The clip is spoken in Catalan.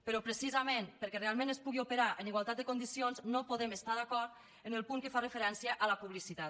però precisament perquè realment es pugui operar en igualtat de condicions no podem estar d’acord en el punt que fa referència a la publicitat